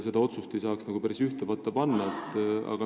Neid otsuseid ei saa päris ühte patta panna.